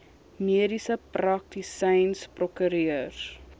mediese praktisyns prokureurs